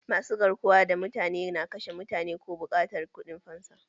Masu garkuwa da mutane na kashe mutane ko buƙatar kuɗin fansa